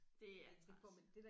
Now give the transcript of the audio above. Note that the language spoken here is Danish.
Det er træls